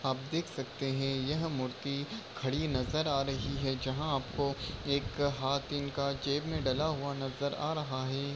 आप देख सकते है यह मूर्ति खड़ी नजर आ रही है जहा आपको एक हाथ इनका जेब मे डला हुआ नजर आ रहा है।